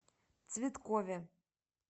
цветкове